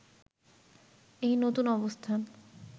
এই নতুন অবস্থান